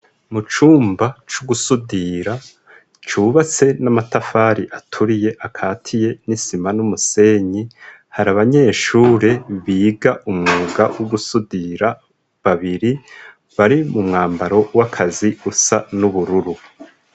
Mucumba c'ugusudira cubatse n'amatafari aturiye akatiye n'isima n'umusenyi, har'abanyeshure biga umwuga wo gusudira babiri bari mumwambaro w'akazi usa n'ubururu.